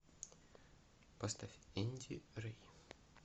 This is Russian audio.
поставь энди рей